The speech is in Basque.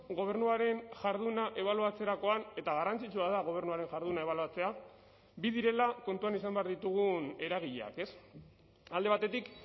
gobernuaren jarduna ebaluatzerakoan eta garrantzitsua da gobernuaren jarduna ebaluatzea bi direla kontuan izan behar ditugun eragileak ez alde batetik